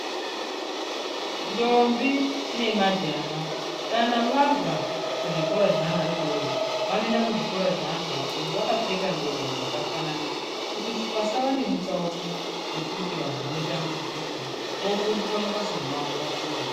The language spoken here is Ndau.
Ndombi nemajaha, kana vabva pazvikora zvavana vadoridori, vanoenda kuzvikoro zveantu akuru, vakapfeka ngubo dzakafanana kuti pasava nemutsauko wokuti vantu vanotambudzika vofundiswa mabasa emaoko vapone.